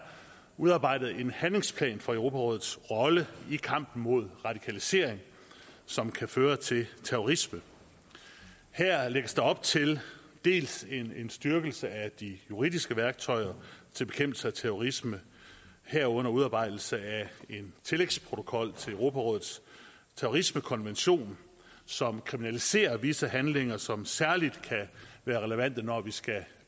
udarbejdet en handlingsplan for europarådets rolle i kampen mod radikalisering som kan føre til terrorisme her lægges der op til dels en styrkelse af de juridiske værktøjer til bekæmpelse af terrorisme herunder udarbejdelse af en tillægsprotokol til europarådets terrorismekonvention som kriminaliserer visse handlinger og som særlig relevant når vi skal